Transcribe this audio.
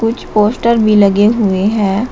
कुछ पोस्टर भी लगे हुए हैं।